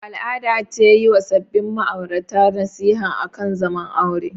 Al'ada ce yi wa sabin ma'aurata nasiha akan zaman aure.